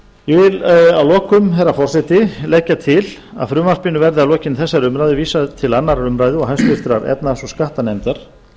ég vil að lokum herra forseti leggja til að frumvarpinu verði að lokinni þessari umræðu vísað til annarrar umræðu og háttvirtrar efnahags og skattanefndar